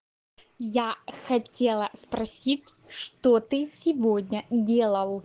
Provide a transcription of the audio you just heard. я хотела спросить что ты сегодня делал